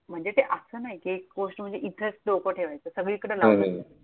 म्हणजे ते असं नाही कि एक गोष्ट म्हणजे इथेच डोकं ठेवायचं. सगळीकडे लावायचं.